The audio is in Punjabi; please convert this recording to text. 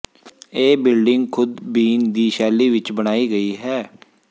ਇਹ ਬਿਲਡਿੰਗ ਖੁਦ ਬੀਨ ਦੀ ਸ਼ੈਲੀ ਵਿੱਚ ਬਣਾਈ ਗਈ ਹੈ